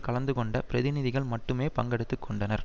கலந்துகொண்ட பிரதிநிதிகள் மட்டுமே பங்கெடுத்து கொண்டனர்